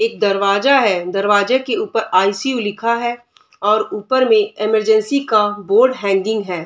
एक दरवाजा है दरवाजे के ऊपर आई.सी.यू. लिखा है और ऊपर में इमरजेंसी का बोर्ड हैंगिंग है।